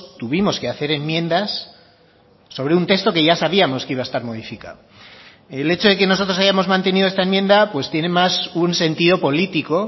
tuvimos que hacer enmiendas sobre un texto que ya sabíamos que iba a estar modificado el hecho de que nosotros hayamos mantenido esta enmienda pues tiene más un sentido político